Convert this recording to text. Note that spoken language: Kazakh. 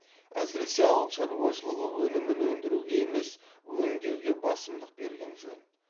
әсіресе ауыл шаруашылығы өнімін өндіруге емес өңдеуге басымдық берген жөн